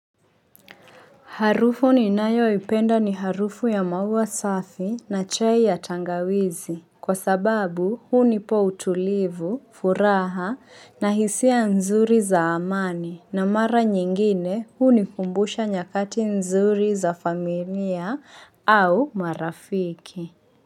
Harufu ninayoipenda ni harufu ya maua safi na chai ya tangawizi. Kwa sababu hunipa utulivu, furaha na hisia nzuri za amani na mara nyingine hunikumbusha nyakati nzuri za familia au marafiki.